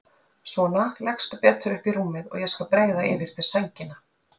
Svona leggstu betur upp í rúmið og ég skal breiða yfir þig sængina.